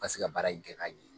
Pase ka baara in kɛ ka ɲɛ.